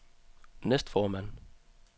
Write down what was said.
næstformand